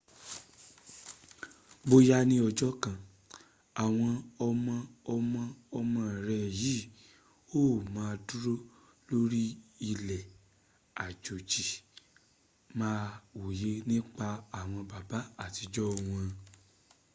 bóyá ní ọjọ́ kan àwọn ọmọ ọmọ ọmọ rẹ yí ò ma dúró lórí ilẹ̀ àjèjì máa wòye nípa àwọn baba àtijọ wọn